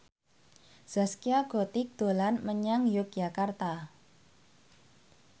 Zaskia Gotik dolan menyang Yogyakarta